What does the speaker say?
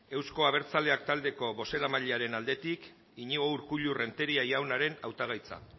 euzko abertzaleak taldeko bozeramailearen aldetik iñigo urkullu renteria jaunaren hautagaitza